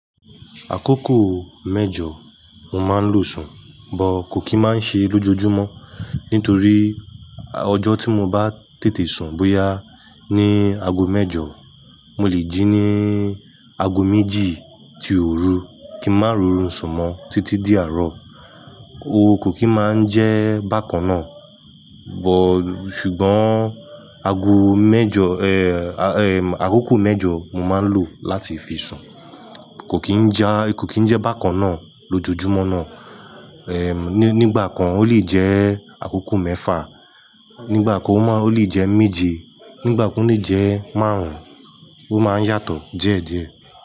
Àkókò mẹ́jọ mo máa ń lo sùn, but kò kí máa ń ṣe lójoojúmọ́ nítorí ọjọ́ tí mo bá tètè sun bóyá ní ago mẹ́jọ, mo lè jí ní ago méjì tí òru kí n má rorun sùn mọ títí di àárọ̀. Ó kò kí máa ń jẹ́ bákan náà but-- ṣùgbọ́n ago mẹ́jọ, eh, àkókò mẹ́jọ mo máa ń lò láti fi sùn. Kò kí ń jẹ́, kò kí ń jẹ́ bákan náà lójoojúmọ́ náà. Nígbà kan ó lè jẹ́ àkókò mẹ́fà, nígbà kan ó máa-- ó lè jẹ́ méje, nígbà kan ó lè jẹ́ márùn-ún. Ó máa ń yàtọ̀ díẹ̀ díẹ̀.